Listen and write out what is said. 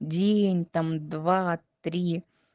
день там два три